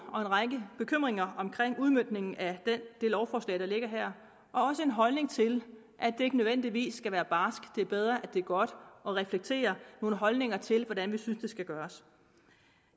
og en række bekymringer omkring udmøntningen af det lovforslag der ligger her og også en holdning til at det ikke nødvendigvis skal være barsk det er bedre at det er godt og reflekterer nogle holdninger til hvordan vi synes det skal gøres